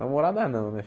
Namorada não, né?